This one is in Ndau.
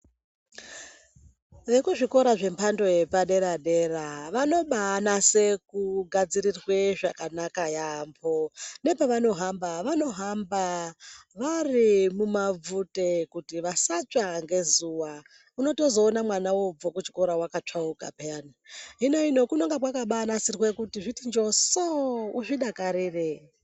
Vwkuzvikora zvemhando yepadera dera vanobanase kugadzirirwe zvakanaka yambo nepavanohamba vanohamba vari mumabvute kuti vasatsva ngezuwa unotozoona mwana obva kuchikora wakatsvauka peyani hino ino kubonga kwakabanasirwe kuti zviti njoso uzvidakarire.